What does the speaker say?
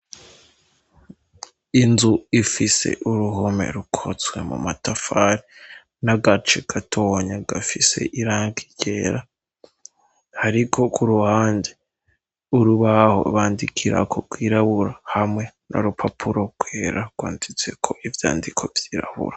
Inzu ifise uruhome rukozwe mu matafari, n'agace gatonya gafise irangi ryera. Hariko ku ruhande urubaho bandikirako rwirabura hamwe n' urupapuro rwera rwanditseko ivyandiko vyirabura.